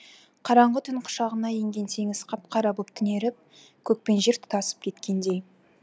қараңғы түн құшағына енген теңіз қап қара боп түнеріп көк пен жер тұтасып кеткендей